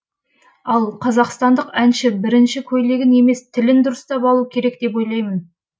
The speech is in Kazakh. ал қазақстандық әнші бірінші көйлегін емес тілін дұрыстап алу керек деп ойлаймын